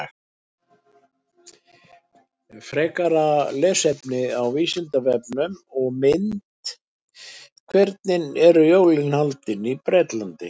Frekara lesefni á Vísindavefnum og mynd Hvernig eru jólin haldin í Bretlandi?